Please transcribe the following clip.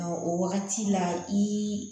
O wagati la i